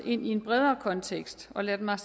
i en bredere kontekst og lad mig